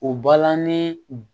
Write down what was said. O balani